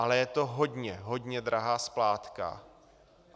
Ale je to hodně, hodně drahá splátka.